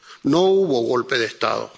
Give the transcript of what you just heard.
No hubo golpe de Estado.